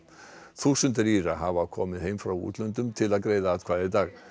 þúsundir Íra hafa komið heim frá útlöndum til að greiða atkvæði í dag